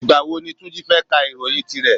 Ìgbà wo ni Túnjí fẹ́ ká ìròyìn tí rẹ̀?